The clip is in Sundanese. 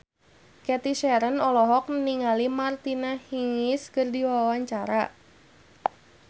Cathy Sharon olohok ningali Martina Hingis keur diwawancara